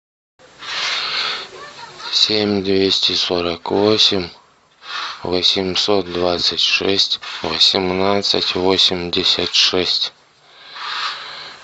семь двести сорок восемь восемьсот двадцать шесть восемнадцать восемьдесят шесть